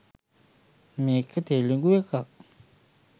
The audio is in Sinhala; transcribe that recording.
මේක තෙළිඟුඑකක්.